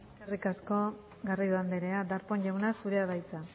eskerrik asko garrido andrea darpón jauna zurea da hitza